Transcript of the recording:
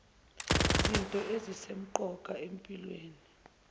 zinto ezisemqoka empilweni